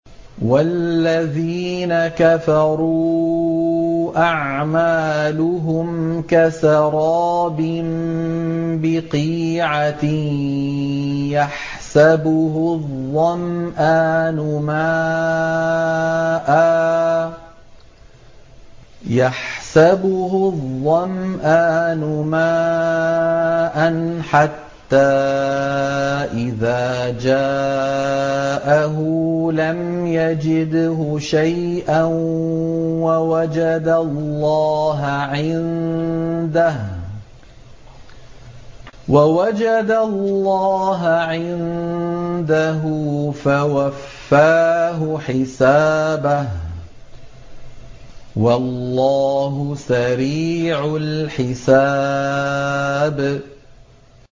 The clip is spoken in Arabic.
وَالَّذِينَ كَفَرُوا أَعْمَالُهُمْ كَسَرَابٍ بِقِيعَةٍ يَحْسَبُهُ الظَّمْآنُ مَاءً حَتَّىٰ إِذَا جَاءَهُ لَمْ يَجِدْهُ شَيْئًا وَوَجَدَ اللَّهَ عِندَهُ فَوَفَّاهُ حِسَابَهُ ۗ وَاللَّهُ سَرِيعُ الْحِسَابِ